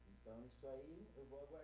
Então, isso aí eu vou